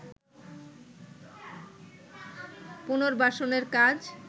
পুনর্বাসনের কাজ